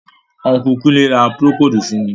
Unku Kunle ra procold fun mi.